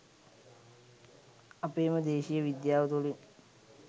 අපේම දේශීය විද්‍යාව තුලින්